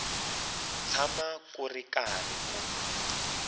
tshama ku ri karhi ku